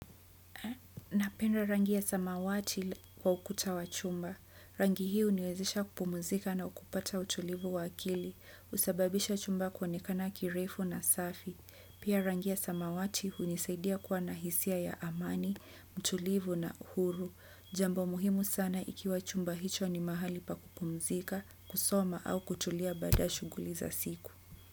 Napenda rangi ya samawati kwa ukuta wa chumba. Rangi hii huniwezesha kupumzika na kupata utulivu wa akili. Usababisha chumba kuonekana kirefu na safi. Pia rangi ya samawati hunisaidia kuwa na hisia ya amani, mtulivu na uhuru. Jambo muhimu sana ikiwa chumba hicho ni mahali pa kupumzika, kusoma au kutulia baada shughuli za siku.